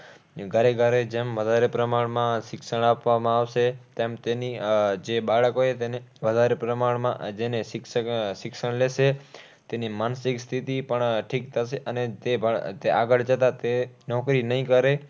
ઘરે ઘરે જેમ વધારે પ્રમાણમાં શિક્ષણ આપવામાં આવશે. તેમ તેની આહ જે બાળક હોય તેને વધારે પ્રમાણમાં જેને શિક્ષક આહ શિક્ષણ લેશે. તેની માનસિક સ્થિતિ પણ ઠીક થશે. અને તે પણ તે આગળ જતાં નોકરી નહીં કરે